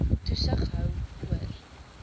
toesig hou oor